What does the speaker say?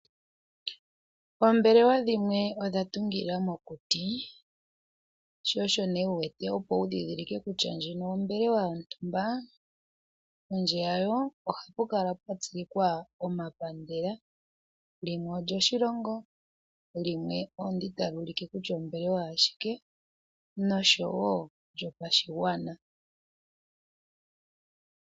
Oombelewa dhimwe odha tungila mokuti, sho osho wu wete, opo wu ndhindhilike kutya ndjino ombelewa yontumba, pondje yawo ohapu kala pwa tsilikwa omapandela, limwe olyoshilongo, limwe olyo ndi tali ulike kutya ombelewa yashike, nosho wo lyopashigwana.